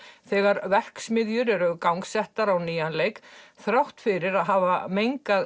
þegar verksmiðjur eru gangsettar á nýjan leik þrátt fyrir að hafa mengað